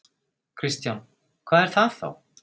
Kristján: Hvað er það þá?